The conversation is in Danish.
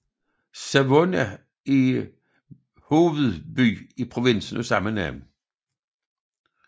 Savona er hovedby i provinsen af samme navn